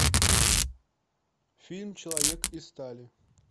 фильм человек из стали